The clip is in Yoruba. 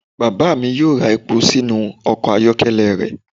Baba mi yoo ra epo sinu ọkọ ayọkẹlẹ rẹ.